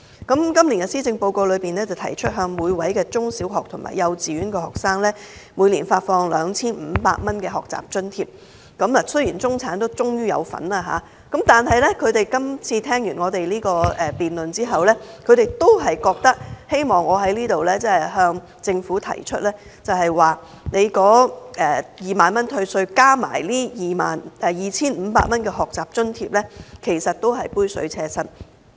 今年的施政報告提出向每位幼稚園、小學及中學的學生每年發放 2,500 元的學習津貼，雖然中產終於受惠，但聽畢我們辯論後，他們都希望我在這裏向政府提出 ，2 萬元退稅額加上 2,500 元的學習津貼是杯水車薪。